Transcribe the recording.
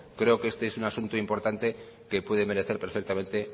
creo que este es asunto importante que puede merecer perfectamente